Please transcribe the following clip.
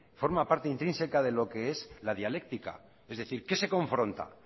forma parte intrínseca de lo que es la dialéctica es decir qué se confronta